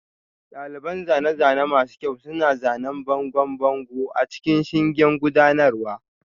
Daliban zane-zane masu kyau suna zanen bangon bango a cikin shingen gudanarwa